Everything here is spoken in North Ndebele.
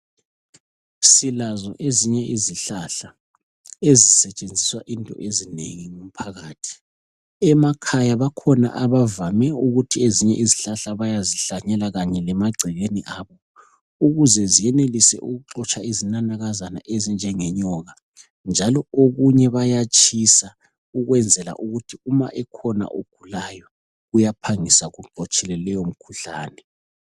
Silazo ezinye izihlahla esisetshenziswa into ezinengi ngumphakathi emakhaya bakhona abavame ukuthi ezinye izihlahla bayazihlanyela kanye lemagcekeni abo ukuze ziyenelise ukuxotsha izinanakaza ezinjenge nyoka njalo okunye bayatshisa ukwenzela ukuthi uma ekhona ogulayo uyaphangisa ukululama kuleyo mkhuhlane.